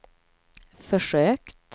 försökt